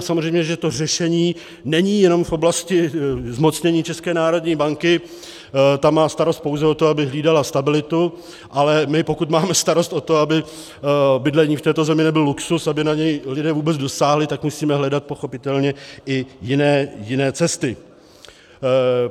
A samozřejmě, že to řešení není jenom v oblasti zmocnění České národní banky, ta má starost pouze o to, aby hlídala stabilitu, ale my, pokud máme starost o to, aby bydlení v této zemi nebyl luxus, aby na něj lidé vůbec dosáhli, tak musíme hledat pochopitelně i jiné cesty.